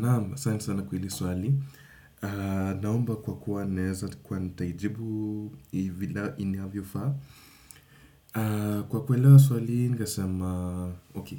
Naam, asanti sana kwa hili swali. Naomba kwa kuwa naeza kuwa nitaijibu inavyofaa. Kwa kuelewa swali hii, ningesema